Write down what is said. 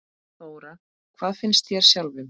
Þóra: Hvað finnst þér sjálfum?